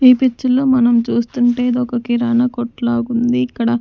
ఈ పిచ్చర్ లో మనం చూస్తుంటే ఇదొక కిరాణా కొట్టులాగుంది ఇక్కడ--